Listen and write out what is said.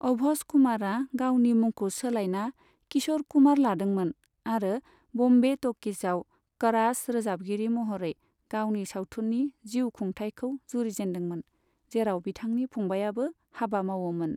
अभस कुमारा गावनि मुंखौ सोलाइना 'किशोर कुमार' लादोंमोन आरो बम्बे ट'किजआव क'रास रोजाबगिरि महरै गावनि सावथुननि जिउ खुंथायखौ जुरिजेनदोंमोन, जेराव बिथांनि फंबायाबो हाबा मावोमोन।